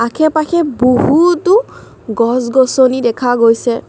আশে-পাশে বহুতো গছ-গছনি দেখা গৈছে।